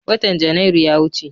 Watan Janairu ya wuce.